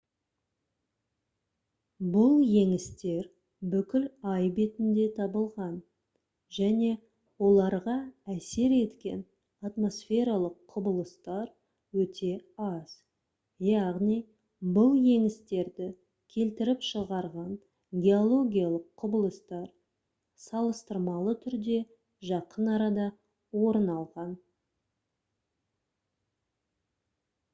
бұл еңістер бүкіл ай бетінде табылған және оларға әсер еткен атмосфералық құбылыстар өте аз яғни бұл еңістерді келтіріп шығарған геологиялық құбылыстар салыстырмалы түрде жақын арада орын алған